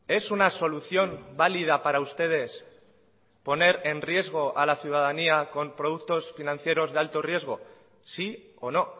es una solución válida para ustedes poner en riesgo a la ciudadanía con productos financieros de alto riesgo sí o no